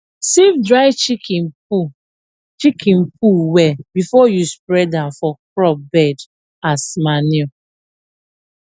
sieve dry chicken poo chicken poo well before you spread am for crop bed as manure